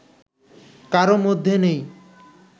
কারও মধ্যে নেই